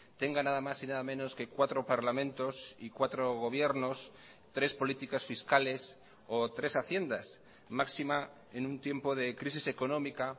tenga nada más y nada menos que cuatro parlamentos y cuatro gobiernos tres políticas fiscales o tres haciendas máxima en un tiempo de crisis económica